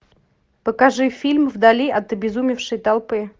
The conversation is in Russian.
покажи фильм вдали от обезумевшей толпы